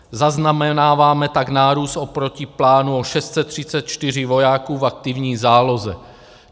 Zaznamenáváme tak nárůst oproti plánu o 634 vojáků v aktivní záloze.